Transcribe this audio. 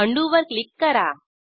undo वर click करा